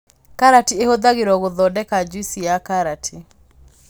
Karati ĩhũthagirwo gũthondeka juici ya karati